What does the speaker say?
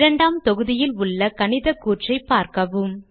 இரண்டாம் தொகுதியில் உள்ள கணித கூற்றை பார்க்கவும்